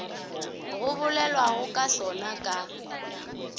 go bolelwago ka sona ka